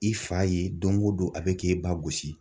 I fa ye don o don a bɛ k'e ba gosi.